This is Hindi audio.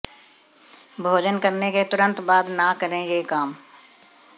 भोजन करने के तुरंत बाद न करें ये काम